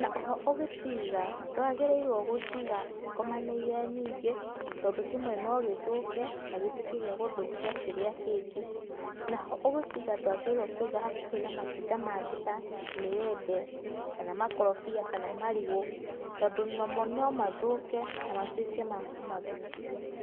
na oho ũgĩciga ndwagĩrĩirwo gũciga cikomanĩire nyingĩ tondũ kĩmwe no gĩthũke na gĩtuĩke gĩa gũthũkia kĩrĩa kĩngĩ, naho ũgĩciga ndwagĩrĩirwo kũiga hakuhĩ na matunda mangĩ ta mĩembe, kana makorobia kana marigũ tondũ nomo no mathũke na matuĩke ma kũmathũkia.